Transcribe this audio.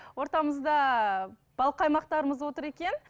ортамызда бал қаймақтарымыз отыр екен